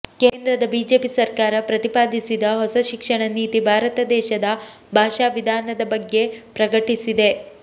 ಕೇಂದ್ರದ ಬಿಜೆಪಿ ಸರ್ಕಾರ ಪ್ರತಿಪಾದಿಸಿದ ಹೊಸ ಶಿಕ್ಷಣ ನೀತಿ ಭಾರತ ದೇಶದ ಭಾಷಾ ವಿಧಾನದ ಬಗ್ಗೆ ಪ್ರಕಟಿಸಿದೆ